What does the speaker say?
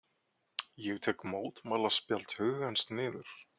Ég tek mótmælaspjald hugans niður.